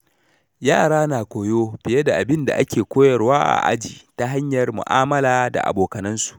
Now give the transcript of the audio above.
Yara na koyo fiye da abin da ake koyarwa a aji ta hanyar mu’amala da abokansu.